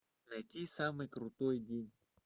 найти самый крутой день